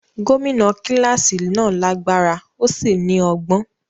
Gómìnà kíláàsì náà lágbára ó sì ní ọgbọ́n.